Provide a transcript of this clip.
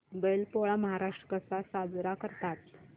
बैल पोळा महाराष्ट्रात कसा साजरा करतात